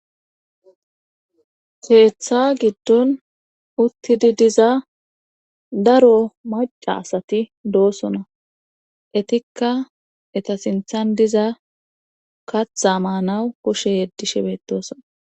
keeththa giddon uttidi diza daro maca asati doosona etikka eta sinthan diza katha maanawu kushe yeddishe bedosona